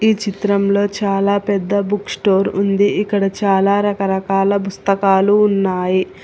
ఈ చిత్రంలో చాలా పెద్ద బుక్ స్టోర్ ఉంది ఇక్కడ చాలా రకరకాల పుస్తకాలు ఉన్నాయి.